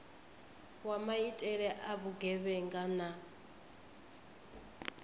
wa maitele a vhugevhenga na